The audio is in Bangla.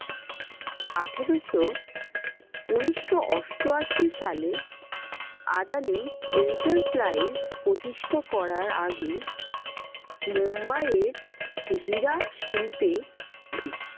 আঠেরোশো উনিশশো অষ্টআশি সালে আদানি enterprise প্রতিষ্ঠা করার আগে মুম্বাইয়ের হীরা শিল্পে